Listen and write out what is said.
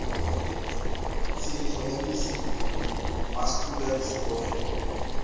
tshenyeho ya mesifa mascular dystrophy